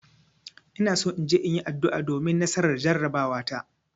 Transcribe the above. Ina so in je in yi addu'a domin nasarar jarabawata.